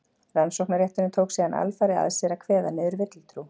rannsóknarrétturinn tók síðan alfarið að sér að kveða niður villutrú